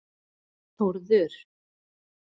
Þórður